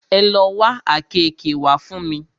Ẹ lo wá àkeekee wá fún mi!